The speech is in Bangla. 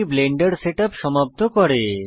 এটি ব্লেন্ডার সেটআপ সমাপ্ত করে